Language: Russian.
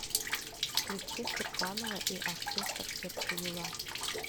включи сурганова и оркестр сердце юла